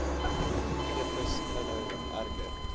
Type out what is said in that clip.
fetus inhou erger